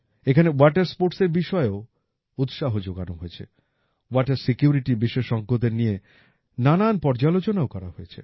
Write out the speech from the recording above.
এখানে ওয়াটার স্পোর্টসের বিষয়েও উৎসাহ যোগানো হয়েছে ওয়াটার সিকিউরিটি বিশেষজ্ঞদের নিয়ে নানান পর্যালোচনাও করা হয়েছে